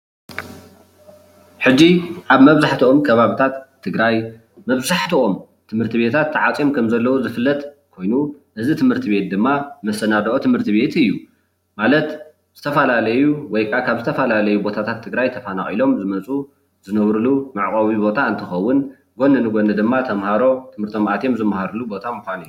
ሕዚ ኣብ ምብዛሕትኦም ከባቢታት ትግራይ መብዛሕትኦም ትምህርትቤታት ተዓፅዮም ከም ዘለዉ ዝፍለጥ ኮይኑ እዚ ትምህርቲ ቤት ድማ መሰናደኦ ትምህርቲ ቤት እዩ፡፡ ማለት ዝትፈላለዩ ወይ ከዓ ካብ ዝተፈላለዩ ቦታታት ትግራይ ተፈናቂሎም ዝመፁ ዝነብርሉ መዕቆቢ ቦታ እንትከውን ጎኒ ንጎኒ ድማ ተማሃሮ ትምህርቶም ኣትዮም ዝማሃርሉ ምኳኑ እዩ፡፡